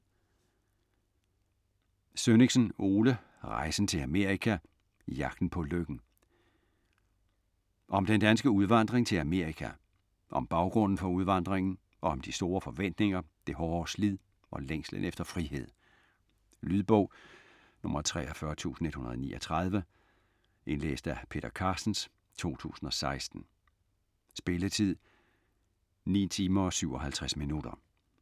Sønnichsen, Ole: Rejsen til Amerika: Jagten på lykken Om den danske udvandring til Amerika. Om baggrunden for udvandringen, om de store forventninger, det hårde slid og længslen efter frihed. Lydbog 43139 Indlæst af Peter Carstens, 2016. Spilletid: 9 timer, 57 minutter.